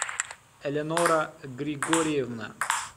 элеонора григорьевна